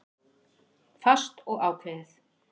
Fast og ákveðið.